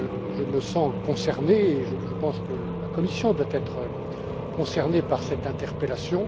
Je me sens concerné et je pense que la Commission doit être concernée par cette interpellation.